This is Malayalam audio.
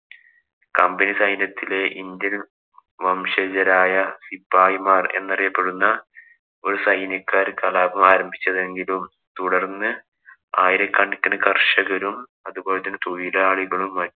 Company സൈന്യത്തിലെ ഇന്ത്യന്‍ വംശജരായ ശിപായിമാര്‍ എന്നറിയപ്പെടുന്ന ഒരു സൈന്യക്കാര്‍ കലാപം ആരംഭിച്ചതെങ്കിലും തുടര്‍ന്നു ആയിരക്കണക്കിന് കര്‍ഷകരും, അതുപോലെ തന്നെ തൊഴിലാളികളും മറ്റും